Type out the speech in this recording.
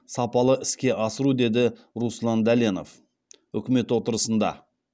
сапалы іске асыру деді руслан дәленов үкімет отырысында